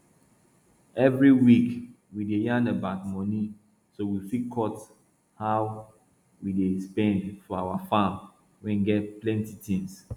every week we dey yarn about money so we fit cut how we dey spend for our farm wey get plenti tins